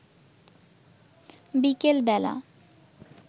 বিকেল বেলা